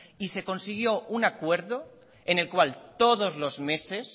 y se consiguió un acuerdo en el cual todos los meses